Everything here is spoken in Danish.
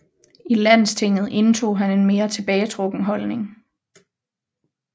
I Landstinget indtog han en mere tilbagetrukken holdning